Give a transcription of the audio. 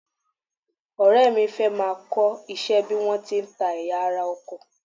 Ọ̀rẹ́ mi fẹ́ máa kọ́ iṣẹ́ bí wọ́n ti ń ta ẹ̀yà ara ọkọ̀